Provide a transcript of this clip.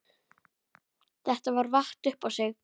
Þetta vatt upp á sig.